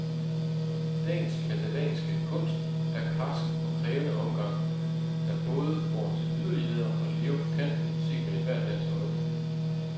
Dagens katalanske kunst er en karsk og krævende omgang, der både går til yderligheder og lever på kanten, set med ethvert lands øjne.